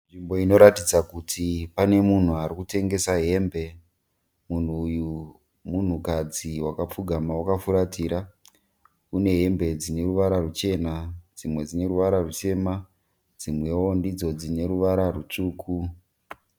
Nzvimbo inoratidza kuti pane munhu ari kutengesa hembe. Munhu uku munhukadzi wakapfugama wakafuratira. Kune hembe dzine ruvara ruchena dzimwe dzine ruvara rutema dzimwewo ndidzo dzine ruvara rutsvuku.